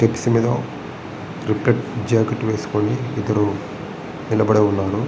Steps మీద jacket వేసుకొని ఇద్దరు నిలబడి ఉన్నారు.